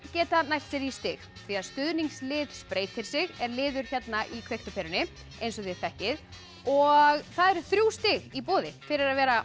geta nælt sér í stig því að stuðningslið spreytir sig er liður hérna í kveikt á perunni eins og þið þekkið og það eru þrjú stig í boði fyrir að vera